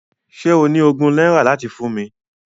Ṣé o ní ogún náírà láti fún mi?